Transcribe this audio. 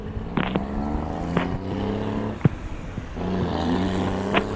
বলো না